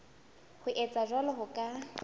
ho etsa jwalo ho ka